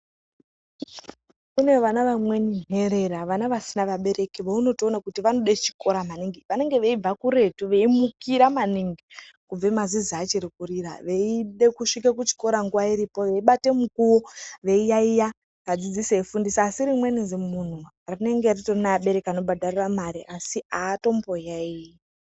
Kunevana vamweni nherera, vana vasina vabereki, vawunotowona kuti vanode chikora maningi. Vanenge veyibva kuretu, veyimukira maningi, kubve mazizi achiri kurira , veyide kusvike kuchikora nguwa ichiripo, veyibate mukuwo, veyiyayiya, vadzidzisi vefundisa. Asi rimweni zimhunu rinenge ritori nevabereki vanobhadarira mari, asi atomboyayiyi.